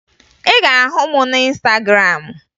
Ị ga-ahụ m na Ịnstagram